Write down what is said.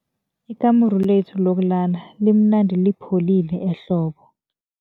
Ikamuru lethu lokulala limnandi lipholile ehlobo.